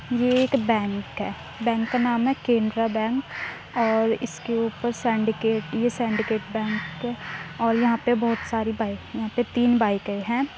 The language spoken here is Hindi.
ये एक बैंक है। बैंक का नाम केनरा बैंक और इस के ऊपर सेंडीकैट ये सेंडीकैट बैंक और यहाँ पे बहुत सारी बाइक यहाँ पे तीन बाइके हैं।